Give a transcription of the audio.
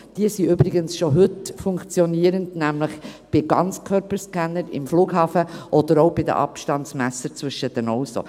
Diese sind übrigens heute schon funktionierend, nämlich bei Ganzkörperscannern im Flughafen oder auch bei Abstandsmessern zwischen Autos.